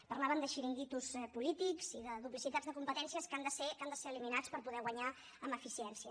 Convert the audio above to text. parlaven de xiringuitos polítics i de duplicitats de competències que han de ser eliminats per poder guanyar en eficiència